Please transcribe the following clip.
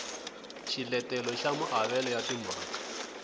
xiletelo xa maavelo ya timaraka